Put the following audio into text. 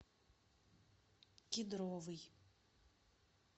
кедровый